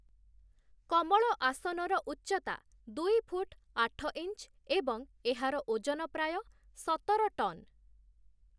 କମଳ ଆସନର ଉଚ୍ଚତା ଦୁଇ ଫୁଟ୍ ଆଠ ଇଞ୍ଚ୍ ଏବଂ ଏହାର ଓଜନ ପ୍ରାୟ ସତର ଟନ୍ ।